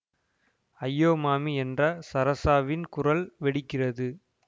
ஐயோ மாமீ என்ற ஸரஸாவின் குரல் வெடிக்கிறது